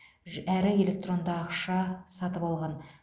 әрі электронды ақша сатып алған